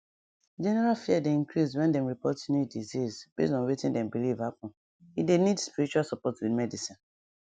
general fear dey increase when dem dem report new disease base on wetin dem believe happen e dey need spiritual support with medicine